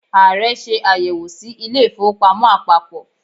Ààrẹ ṣe àyẹ̀wò sí ilé ìfowópamọ́ àpapọ̀.